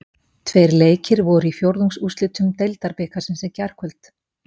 Tveir leikir voru í fjórðungsúrslitum Deildabikarsins í gærkvöld.